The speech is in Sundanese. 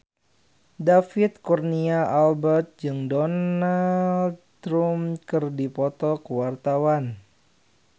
David Kurnia Albert jeung Donald Trump keur dipoto ku wartawan